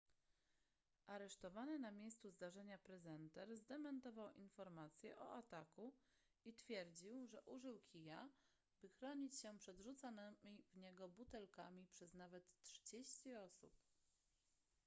aresztowany na miejscu zdarzenia prezenter zdementował informacje o ataku i twierdził że użył kija by chronić się przed rzucanymi w niego butelkami przez nawet trzydzieści osób